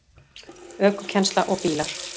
ÖKUKENNSLA OG BÍLAR